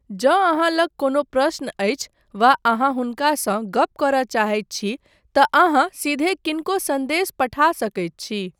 जँ अहाँ लग कोनो प्रश्न अछि वा अहाँ हुनकासँ गप करय चाहैत छी तँ अहाँ सीधे किनको सन्देश पठा सकैत छी।